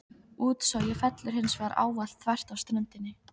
Útsogið fellur hins vegar ávallt þvert af ströndinni.